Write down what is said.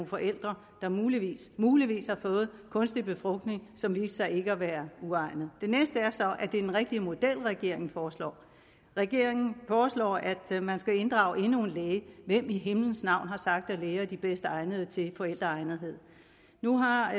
forældre der muligvis muligvis har fået kunstig befrugtning og som viste sig ikke at være egnet det næste er så den rigtige model regeringen foreslår regeringen foreslår at man skal inddrage endnu en læge hvem i himlens navn har sagt at læger er de bedst egnede til at vurdere forældreegnethed nu har